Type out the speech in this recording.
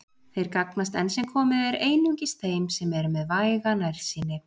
Þeir gagnast enn sem komið er einungis þeim sem eru með væga nærsýni.